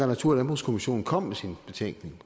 natur og landbrugskommissionen kom med sin betænkning